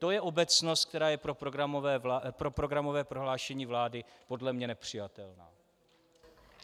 To je obecnost, která je pro programové prohlášení vlády podle mě nepřijatelná.